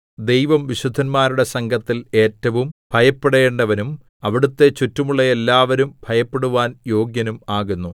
ദൈവം വിശുദ്ധന്മാരുടെ സംഘത്തിൽ ഏറ്റവും ഭയപ്പെടേണ്ടവനും അവിടുത്തെ ചുറ്റുമുള്ള എല്ലാവരും ഭയപ്പെടുവാൻ യോഗ്യനും ആകുന്നു